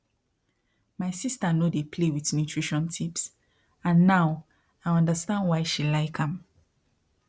my sister no dey play with nutrition tips and now i understand why she like am